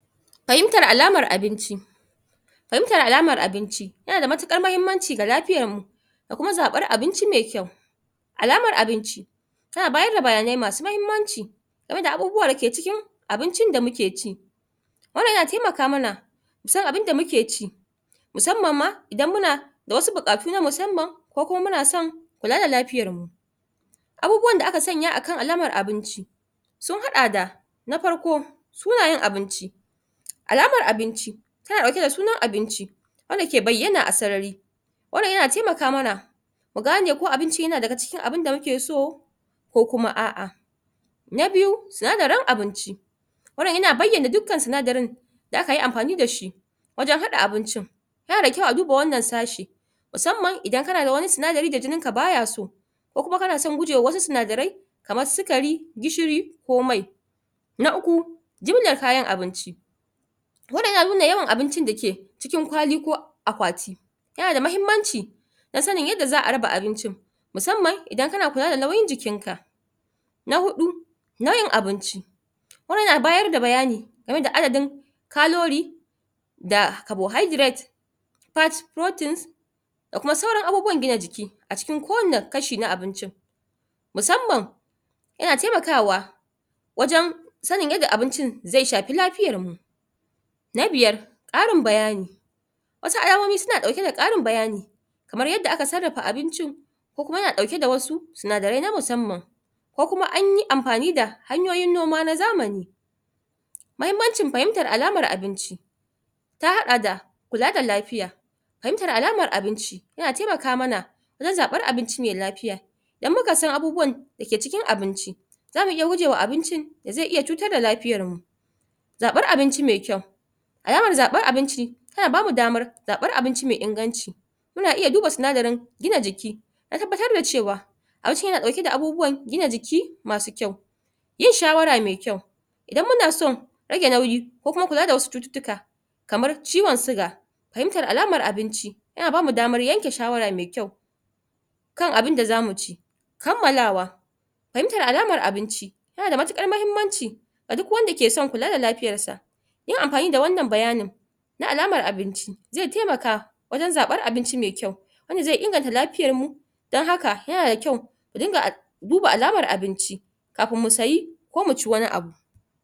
Fahimtyar alamar Abinci Fahimtar alamar abinci yana da matuƙar mahimmanci da lafiyarmu da kuma zaɓar abinci mai kyau. Alamar Abinci tana bayar d bayanai masu mahimmanci game abubuwan da ke cikin abincin da muke ci wannan yana taimaka mana musan abun da muke ci, musamman ma idan muna da wasu buƙatu na musamman ko kuma muna son ƙ are lafiyarmu. Abubuwan da aka sanya akan alamar Abinci, sun haɗa da; Na Farko: Sunayen Abinci. Alamar Abinci, tana ɗauke da sunan abinci, wanda ke bayyana a sarari wannan yana taimaka mana mu gane ko abincin yana daga cikin abin da muke so, ko kuma a'a. Na Biyu: Sinadarin Abinci. Wannan yana bayyana dukan sinadarin da akayi amfani da shi wajen haɗa abincin. Yana da kyau a duba wannan sa shi, musamman idan kana da wani sinadari da jininkan baya so ko kuma kana son gujewa wasu sinadarai kamar sukari, gishiri ko mai. Na Uku: Jimilar Kayan Abinci. Wannan yana nuna yawan abincin dake cikin kwali ko akwati, yana da muhimmanci, ta snin yadda za'a raba abincin. musamman idan kana kula da nauyin jikinka. Na Huɗu: Nau'in Abinci. Wannan yanabayar da bayani, game da adadin, kalori, da cabohydrate, fat, proteins, da kuma sauran abuwan jina jiki, a cikin kowanne kashi na abinci. miusamman, yan taimakawa wajen sain yadda abincin zai shafi lafiyarmu. Na Biyar: Ƙarin Bayani. Wasu Alamomi suna ɗauke da ƙarin bayani, kamar yadda aka sarafa abincin, ko kuma yana ɗauke da wasu sinadarai na musamman ko kuma anyi amfani da hanyoyin noma na zamani. Mahimmancin Fahimtar Alamar Abinci: ta haɗa da kula da lafiya. Fahimtar Alamar abinci, yana taimaka mana don zaɓar abinci mai lafiya. Idan muka san abubuwan dake cikin abinci, zamu iya gujewa abincin da zai iya cutar da lafiyarmu. Zaɓar Abinci Mai-kyau: Alamar zaɓar abinci tana bamu damar aɓar abinci mai inganci, mun iya duba sinadarin gina jiki don tabbatar da cewa, abincin yana ɗauke da abubuwan gina jiki masu kyau. Yin Shawara Mai-kyau: Idan muna son rage nauyi ko kuma kula da wasu cututtuka, kamar ciwon siga, fahimtar alamar abinci yana bamu damar yanke shawara mai kyau kan abunda zami ci. Kanmalawa: Fahimtar Alamar Abinci, yana da matuƙar mahimmanci, ga duk wanda ke son kula da lafiyarsa. Yin amfani da wannan bayanin, na alamar abinci, zai taimaka wajen zaɓar abinci mai kyau wanda zai inganta lafiyarmu, don haka yana da kyau mu dinga duba alamar abinci kafin mu sayi, ko mu ci wani abu.